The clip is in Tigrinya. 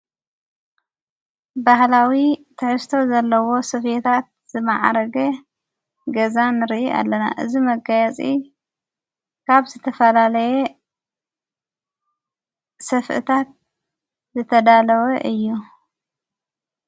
ባህላዊ ተሕዝቶ ዘለዎ ሰፌታት ዝመዓረገ ገዛን ሪ ኣለና እዝ መጋያፂ ካብ ዝተፈላለየ ሰፍእታት ዘተዳለወ እዩ።